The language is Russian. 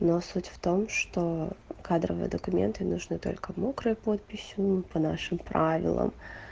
но суть в том что кадровые документы нужны только мокрой подписью по нашим правилам